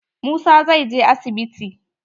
Musa zai je asibiti.